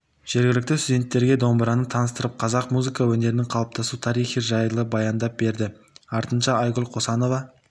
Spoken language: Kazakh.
жергілікті студенттерге домбыраны таныстырып қазақ музыка өнерінің қалыптасу тарихы жайлы баяндап берді артынша айгүл қосанова